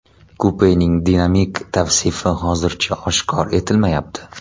Kupening dinamik tavsifi hozircha oshkor etilmayapti.